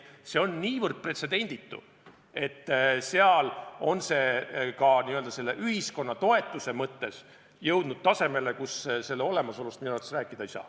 See on niivõrd pretsedenditu, et seal on see ka ühiskonna toetuse mõttes jõudnud tasemele, kus selle olemasolust minu arvates rääkida ei saa.